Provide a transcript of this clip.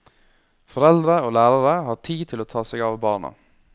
Foreldre og lærere har tid til å ta seg av barna.